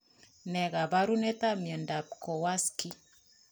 Nee kaparunoik ap miondap kowarski